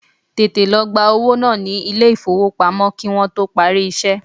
Tètè lọ gba owó ní ilé ìfowópamọ́ kí Wọ́n tó parí iṣẹ́!